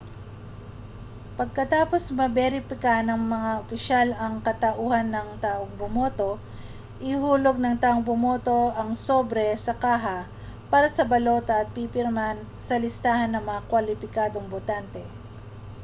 pakatapos maberipika ng mga opisyal ang katauhan ng taong bumoto ihuhulog ng taong bumoto ang sobre sa kaha para sa mga balota at pipirma sa listahan ng mga kwalipikadong botante